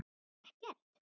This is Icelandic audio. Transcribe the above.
Bara ekkert.